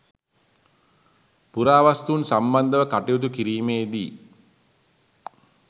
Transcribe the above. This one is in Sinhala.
පුරාවස්තූන් සම්බන්ධව කටයුතු කිරීමේදී